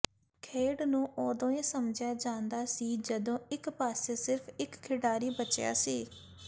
ਖੇਡ ਨੂੰ ਉਦੋਂ ਹੀ ਸਮਝਿਆ ਜਾਂਦਾ ਸੀ ਜਦੋਂ ਇਕ ਪਾਸੇ ਸਿਰਫ ਇਕ ਖਿਡਾਰੀ ਬਚਿਆ ਸੀ